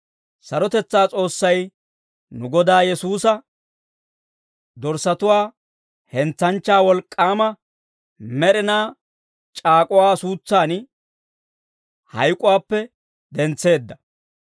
Sarotetsaa S'oossay, nu Godaa Yesuusa, dorssatuwaa hentsanchchaa wolk'k'aama, med'inaa c'aak'uwaa suutsan hayk'uwaappe dentseedda.